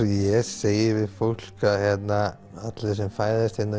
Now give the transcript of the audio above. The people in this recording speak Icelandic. ég segi við fólk að allir sem fæðast hérna